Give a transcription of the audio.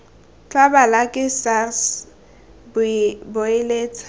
tla balwa ke sars boeletsa